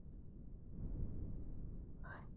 ਅੱਛ